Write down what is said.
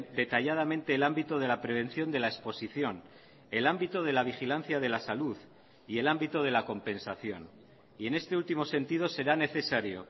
detalladamente el ámbito de la prevención de la exposición el ámbito de la vigilancia de la salud y el ámbito de la compensación y en este último sentido será necesario